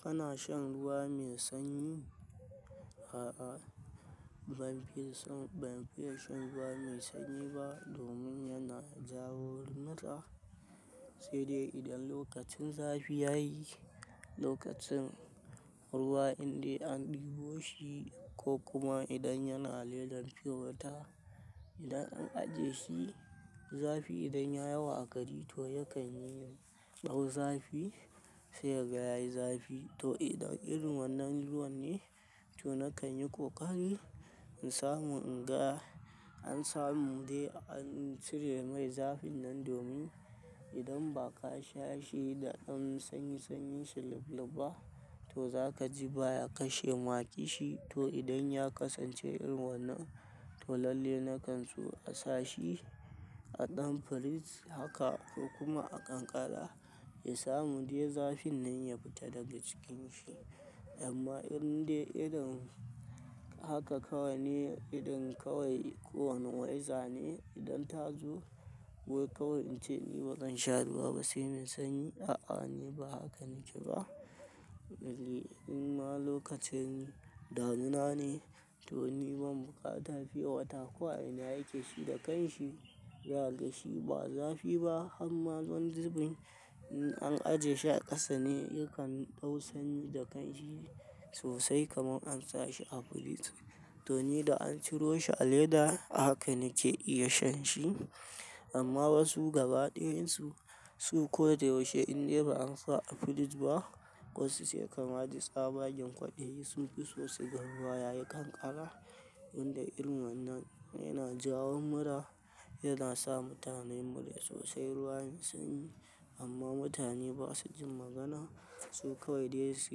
Kana shan ruwa mai sanyi? Ban, ban fiye shan ruwa mai sanyi ba domin yana jawo mura. Sai dai idan lokacin zafi ya yi, lokacin ruwa inda an ɗebo shi ko kuma idan yana ledan fiye wata, idan an ajiye shi zafi idan ya yawa a gari to yakan yi ɗau zafi sai ka yayi zafi. To idan irin wannan ruwan ne, to nakan yi ƙoƙari in samu in ga, an samu dai an cire mai zafin nan domin idan ba ka sha shi da an sanyi sanyin shi lub-lubba, to za ka ji baya kashe ma ki shi. To idan ya kasance irin wannan, to lalle na kan so a sa shi a ɗan firij haka ko kuma a kankara ya samu dai zafin nan ya fita daga cikin shi. Amma indai irin haka kawai ne, idan kawai kowane wayza ne idan ta zo wai kawai in ce ni bazan sha ruwa ba sai mai sanyi. A'a, ni ba haka nike ba. Ni in ma lokaci ne, damuna ne to ni ban bukata fiye wata. Ko a ina yake shi da kanshi, za gashi ba zafi ba. Amma don zubin an ajiye shi a ƙasa ne yakan dau sanyi da kanshi sosai kamar an sa shi a firij. To ni da an ciro shi a leda haka nike iya shan shi. Amma wasu gaba ɗayansu su ko da yaushe indai ba an sa a firij ba, ƙasusuwa kamar ɗi tsabagen ƙwaɗayi su fi so su ga ruwa yayi kankara. Inda irin wannan yana jawo mura, yana sa mutane mura sosai ruwan sanyi. Amma mutane ba su jin magana, su kawai dai su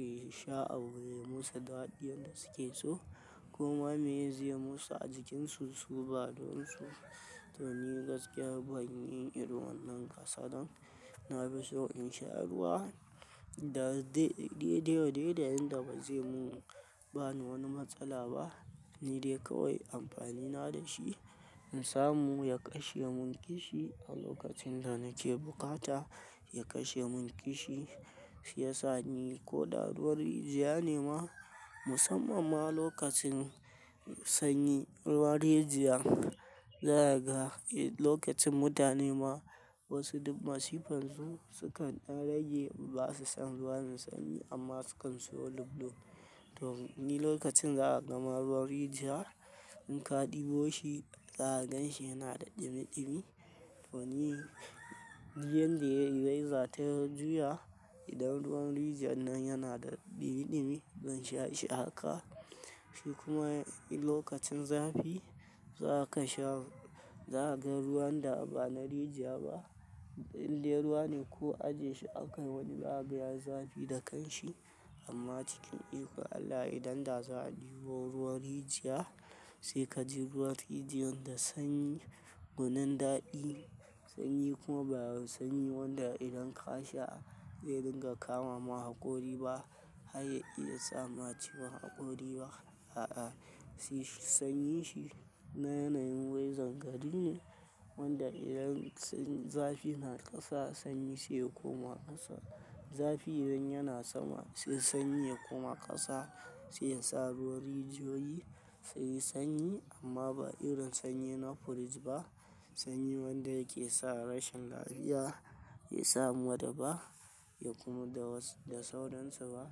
yi sha a wurin musu daɗin da suke so. Kuma me ya je musu a jikinsu su ba don su. To ni gaskiya ban yi irin wannan kasadan, na fi so in sha ruwa da daide wa daida inda bazai mu ba ni wani matsala ba. Ni dai kawai amfani na da shi in samu ya kashe mun kishi a lokacin da nake bukata, ya kashe mun kishi shi ya sani ko da ruwan rijiya ne ma musamman ma lokacin sanyi ruwan rijiya. Zai kaga lokacin mutane ma wasu masifan su sukan ɗan rage ba su san ruwa mai sanyi amma su kan so lub-lub. To ni lokacin za a gama ruwan rijiya in ka ɗebo shi, za ka gan shi yana da ɗimi ɗimi. To ni yanda wayza ta juya idan ruwan rijiyar nan yana da ɗimi ɗimi dan sha shi haka. Shi kuma lokacin zafi za ka sha, za ka ga ruwan da ba na rijiya ba idan dai ruwa ne ko ajiye shi akan wani baya zafi da kanshi. Amma cikin iko Allah idan za a ɗebo ruwan rijiya sai ka ji ruwan rijiyar da sanyi gunin daɗi. Sanyi kuma baya sanyi wanda idan ka sha zai dinga kama ma hakori ba. Ai ya iya sama ciwon hakori ba. A'a, sanyi shi na yanayin wayzan gari ne wanda idan zafi na ƙasa sanyi sai kuma ƙasa. Zafi idan yana sama sai sanyi ya koma ƙasa sai yasa ruwan rijiyoyi su yi sanyi amma ba irin sanyi na firij ba. Sanyi wanda yake sa rashin lafiya, ya samu da ba ya kuma da wasu da sauransu ba.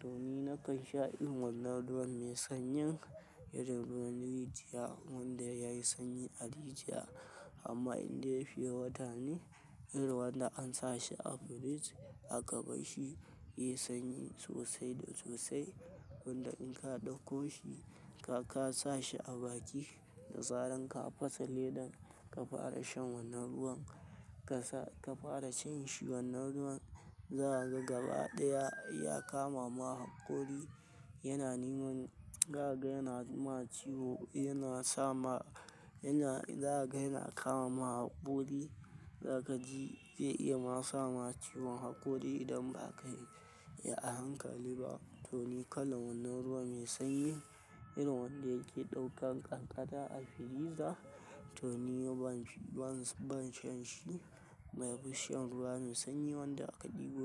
To ni na kan sha irin wannan ruwan mai sanyin irin ruwan rijiya wanda ya yi sanyi a rijiya. Amma indai ya fiye wata ne irin wanda an sa shi a firij aka bashi, ya yi sanyi sosai da sosai wanda in ka ɗauko shi ka sa shi a baki da zaran ka fasa ledan ka fara shan wannan ruwan ka fara cin shi wannan ruwan, za ka ga gaba ɗaya ya kama ma hakori. Yana neman, za ka ga yana ma ciwo yana sama, yana, za ka ga yana kama ma hakori. Za ka ji zai iya ma sama ciwon hakori idan ba ka yi a hankali ba. To ni kalan wannan ruwa mai sanyi irin wanda yake ɗaukan kankara a firiza, to ni ban shan shi. Mai fushin ruwa mai sanyi wanda aka ɗebo.